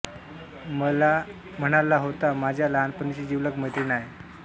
मला म्हणाला होता माझ्या लहानपणीची जीवलग मैत्रीण आहे